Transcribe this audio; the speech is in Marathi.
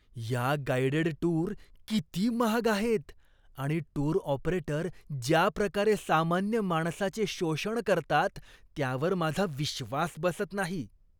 या गाइडेड टूर किती महाग आहेत आणि टूर ऑपरेटर ज्या प्रकारे सामान्य माणसाचे शोषण करतात त्यावर माझा विश्वास बसत नाही.